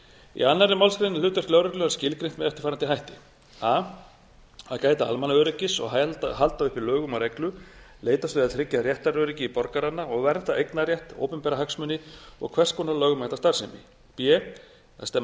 í annarri málsgrein er hlutverk lögreglunnar skilgreint með eftirfarandi hætti a að gæta almannaöryggis og halda uppi lögum og reglu leitast við að tryggja réttaröryggi borgaranna og vernda eignarrétt opinbera hagsmuni og hvers konar lögmæta starfsemi b að stemma